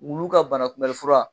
Wulu ka banakunbɛli fura